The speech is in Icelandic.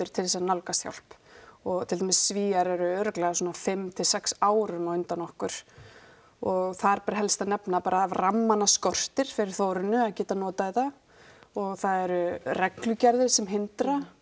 til þess að nálgast hjálp og til dæmis Svíar eru örugglega svona fimm til sex árum á undan okkur og þar ber helst að nefna bara að rammana skortir fyrir Þórunni að geta notað þetta og það eru reglugerðir sem hindra